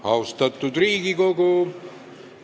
Austatud Riigikogu!